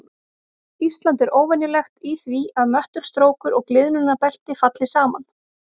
Ísland er óvenjulegt í því að möttulstrókur og gliðnunarbelti falli saman.